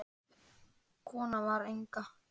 Konan var Inga.